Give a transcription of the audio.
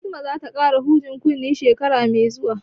Fatima za ta ƙara hujen kunne shekara mai zuwa